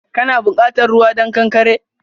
Kana bukatan ruwa don ƙanƙare?